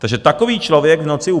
Takže takový člověk v noci u